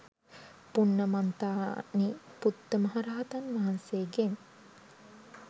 පුන්නමන්තානි පුත්ත මහරහතන් වහන්සේගෙන්